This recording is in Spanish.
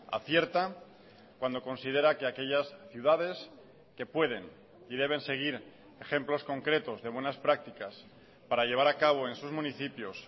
acierta cuando considera que aquellas ciudades que pueden y deben seguir ejemplos concretos de buenas prácticas para llevar a cabo en sus municipios